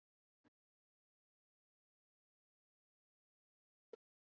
Bryndís: Og hvernig æfðu þið ykkur fyrir keppnina?